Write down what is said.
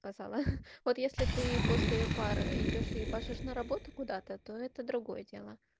сказала вот если ты после пары идёшь и ебашишь на работу куда-то то это другое дело